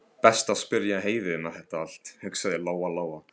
Best að spyrja Heiðu um þetta allt, hugsaði Lóa Lóa.